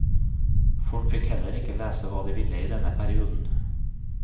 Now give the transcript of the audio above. Folk fikk heller ikke lese hva de ville i denne perioden.